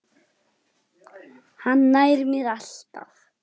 Hann nær mér alltaf!